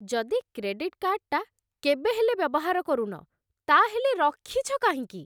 ଯଦି କ୍ରେଡିଟ୍ କାର୍ଡ଼୍‌ଟା କେବେ ହେଲେ ବ୍ୟବହାର କରୁନ, ତା'ହେଲେ ରଖିଛ କାହିଁକି?